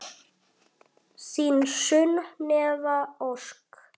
Þín Sunneva Ósk.